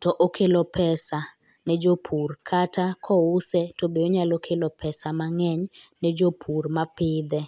to okelo pesa ne jopur kata kouse to be onya kelo pesa mang'eny ne jopur mapidhe.